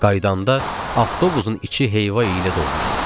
Qaydanda avtobusun içi heyva ilə dolmuşdu.